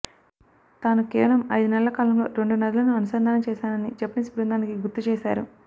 తాను కేవలం ఐదు నెలల కాలంలో రెండు నదులను అనుసంధానం చేశానని జపనీస్ బృందానికి గుర్తు చేశారు